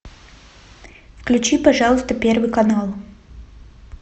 включи пожалуйста первый канал